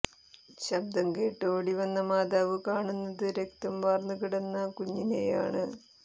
ശബ്ദം കേട്ട് ഓടിവന്ന മാതാവ് കാണുന്നത് രക്തം വാര്ന്നു കിടക്കുന്ന കുഞ്ഞിനെയാണ്